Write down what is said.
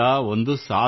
ಒಂದು ಸಾಧನೆ